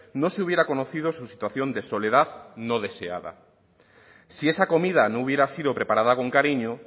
no se hubiera conocido su situación de soledad no deseada si esa comida no hubiera sido preparada con cariño